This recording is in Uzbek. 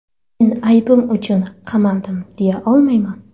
Men aybim uchun qamaldim, deya olmayman.